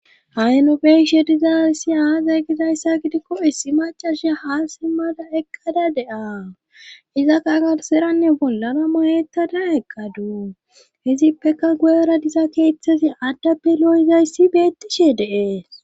Ahi nobeishe diza issi aazey gizayssa gidikko issi macasha haa simmada eqqada de'aa iza qagarseranne bollara mayetada eqqadu hizippeka guyara diza keeththezi addappe lo'izayssi beettishe de'e.